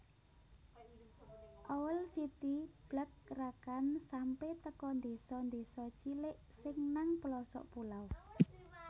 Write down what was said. Owl City blakrakan sampe teko ndeso ndeso cilik sing nang pelosok pulau